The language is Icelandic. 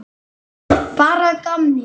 Bara að gamni.